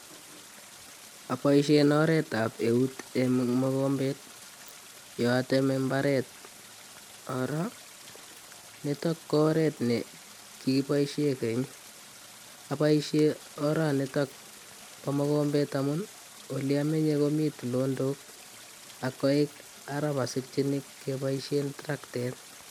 Aboisien oretab eut en mokomet ye ateme mbaret nitok ko oret nekiboisien keny aboisien oranitok bo mokombet amun oliamenye komi tulonok ak koik ara mosikyinin keboisien trakted